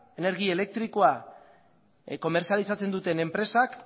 energi elektrikoa komertzializatzen duten enpresak